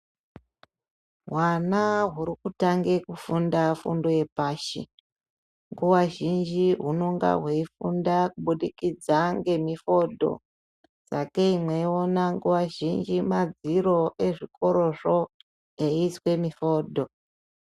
Hwana hurikutanga kufunda fundo yepashi ,nguwa zhinji hunenge hweifunda kuburikidza ngemifodho ,sakei meiona madziro ezvikorozvo eiiswe mifodho.